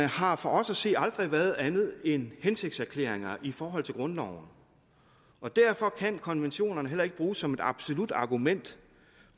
har for os at se aldrig været andet end hensigtserklæringer i forhold til grundloven og derfor kan konventionerne heller ikke bruges som et absolut argument